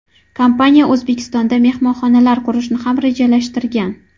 Kompaniya O‘zbekistonda mehmonxonalar qurishni ham rejalashtirgan.